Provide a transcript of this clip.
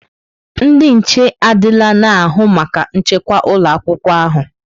Ndị nche adịla na-ahụ maka nchekwa ụlọ akwụkwọ ahụ.